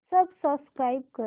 subscribe कर